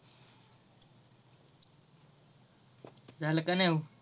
झाल का नाही